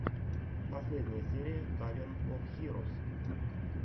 последняя серия таверн оф хирос